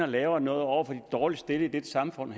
laver noget over for de dårligst stillede i dette samfund